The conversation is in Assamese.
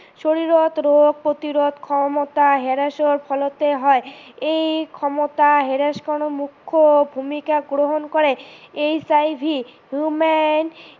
শৰীৰত ৰোগ প্ৰতিৰোধ ক্ষমতা হেৰাই যোৱাৰ ফলতে হয়, এই ক্ষমতা হেৰাই যোৱাত মুখ্য ভূমিকা গ্ৰহণ কৰে HIV human